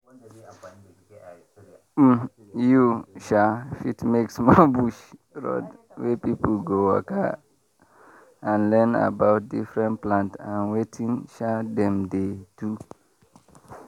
um you fit make small bush road wey people go waka and learn about different plant and wetin um dem dey do.